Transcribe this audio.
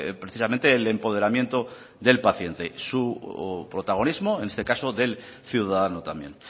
precisamente el empoderamiento del paciente su protagonismo en este caso del ciudadano también